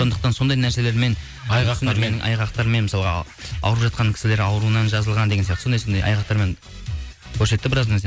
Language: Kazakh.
сондықтан сондай нәрселермен айғақтармен мысалға ауырып жатқан кісілер ауруынан жазылған деген сияқты сондай айғарқтармен көрсетті біраз нәрсені